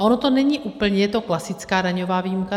A ono to není úplně, je to klasická daňová výjimka.